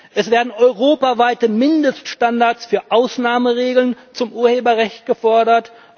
Es werden europaweite Mindeststandards für Ausnahmeregeln zum Urheberrecht gefordert.